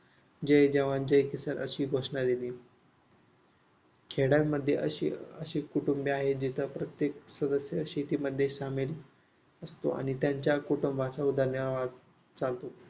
जय जवान जय किसान अशी घोषणा दिली. खेड्यांमध्ये अशी कुटुंबीय आहेत, जिथे प्रत्येक सदस्य शेतीमध्ये सामील असतो. आणि त्यांच्या कुटुंबाचा उदरनिर्वाह चालतो.